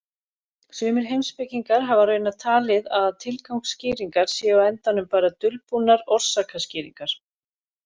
Sumir heimspekingar hafa raunar talið að tilgangsskýringar séu á endanum bara dulbúnar orsakaskýringar.